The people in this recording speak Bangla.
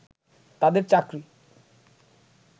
তাদের চাকরি